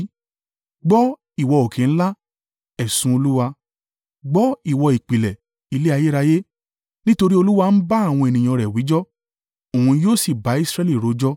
“Gbọ́, ìwọ òkè ńlá, ẹ̀sùn Olúwa; gbọ́, ìwọ ìpìlẹ̀ ilé ayérayé. Nítorí Olúwa ń bá àwọn ènìyàn rẹ̀ wíjọ́; òun yóò sì bá Israẹli rojọ́.